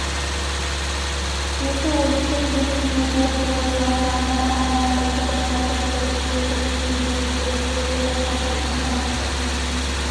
беті өліктің бетіндей боп боз жан-жағына қарамай ұйқыда жатып тұрып кетіп түсінде жүріп келе жатқандай соншама